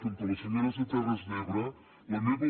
com que la senyora és de terres d’ebre la meva